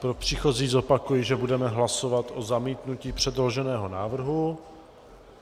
Pro příchozí zopakuji, že budeme hlasovat o zamítnutí předloženého návrhu.